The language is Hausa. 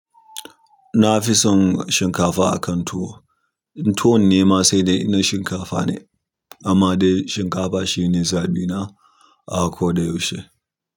Na fi son shinkafa akan tuwo. Tuwon ne ma sai dai in na shinkafa ne. Amma dai shinkafa shi ne zaɓi na. A ko da yaushe.